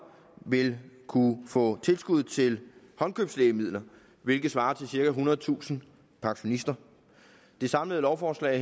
vil kunne få tilskud til håndkøbslægemidler hvilket svarer til cirka ethundredetusind pensionister det samlede lovforslag